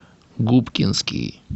губкинский